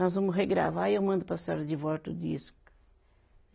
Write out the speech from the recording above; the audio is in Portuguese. Nós vamos regravar e eu mando para a senhora de volta o disco.